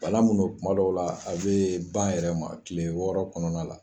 Bana min don tuma dɔw la a bɛ ban a yɛrɛ ma tile wɔɔrɔ kɔnɔna la